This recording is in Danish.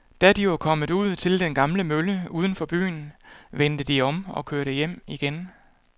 Da de var kommet ud til den gamle mølle uden for byen, vendte de om og kørte hjem igen.